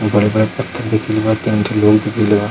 बड़े-बड़े पत्थर दिखेल बा तीन ठो लोग दिखेल बा ।